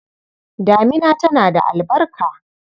Damina tana da albarka.